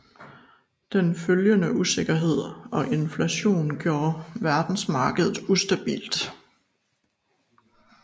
Den følgende usikkerhed og inflation gjorde verdensmarkedet ustabilt